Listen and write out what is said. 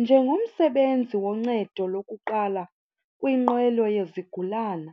Njengomsebenzi woncedo lokuqala kwinqwelo yezigulana